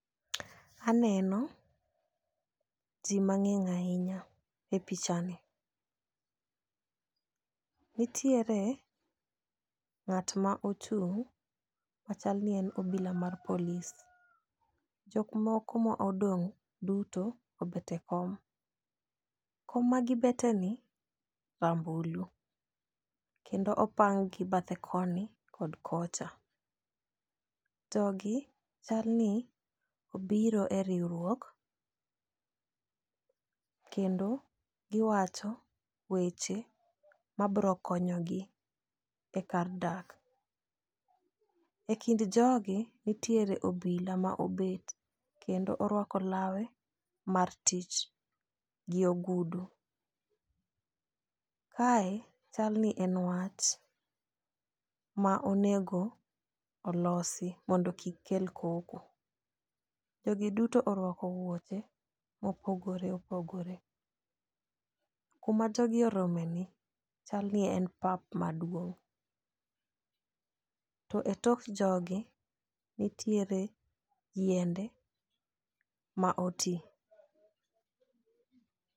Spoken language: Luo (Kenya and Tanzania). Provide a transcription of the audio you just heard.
Aneno jii mang'eny ahinya e picha ni . Nitiere ng'at ma ochung' machal ni en obila mar polis . Jok moko ma odong' duto obet e kom , kom ma gibete ni rambulu kendo opangi bathe koni kod kocha. Jogi chal ni obiro e riwruok kendo giwacho weche ma bro konyogi e kar dak. E kind jogi, ntiere obila ma obet kendo orwako lawe mar tich gi ogudu . Kae chal ni en wach, ma onego olosi mondo kik kel koko. Jogi duto orwako wuoche mopogore opogore .Kuma jogi orome ni chal ni en pap maduong' to e tok jogi ntiere yiende ma otii.